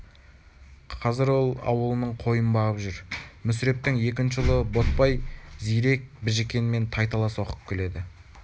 қазір ол ауылының қойын бағып жүр мүсірептің екінші ұлы ботбай зирек біжікенмен тайталас оқып келеді